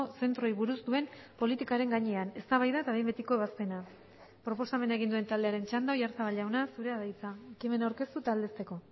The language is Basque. zentroei buruz duen politikaren gainean eztabaida eta behin betiko ebazpena proposamena egin duen taldearen txanda oyarzabal jauna zurea da hitza ekimena aurkeztu eta aldezteko